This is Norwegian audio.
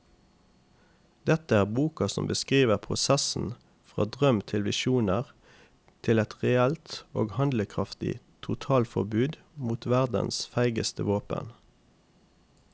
Dette er boka som beskriver prosessen fra drøm til visjoner til et reelt og handlekraftig totalforbud mot verdens feigeste våpen.